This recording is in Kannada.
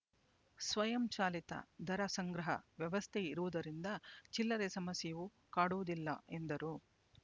ಸ್ವಯಂ ಚಾಲಿತ ದರ ಸಂಗ್ರಹ ವ್ಯವಸ್ಥೆ ಇರುವುದರಿಂದ ಚಿಲ್ಲರೆ ಸಮಸ್ಯೆಯೂ ಕಾಡುವುದಿಲ್ಲ ಎಂದರು